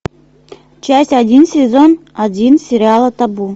часть один сезон один сериала табу